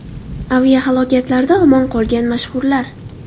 Aviahalokatlarda omon qolgan mashhurlar.